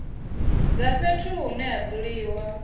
dza fhethu hune ha dzuliwa